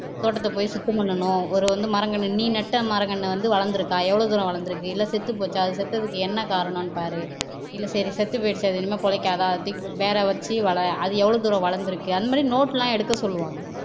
தோட்டத்தை போய் சுத்தம் பண்ணனும் ஒரொரு மரங்கன்னு நீ நட்ட மரங்கன்னு வந்து வளர்ந்திருக்கா எவ்வளவு தூரம் வளர்ந்திருக்கு செத்துப்போச்சா அது செத்ததுக்கு என்ன காரணம்னு பார் இல்லை சரி அது செத்துபோயிருச்சு இனிமேல் பிழைக்காதா தூக்கி போடு வேற வச்சு வள அது எவ்வளவு தூரம் வளர்ந்திருக்கு அந்த மாதிரி note எல்லாம் எடுக்கச்சொல்லுவாங்க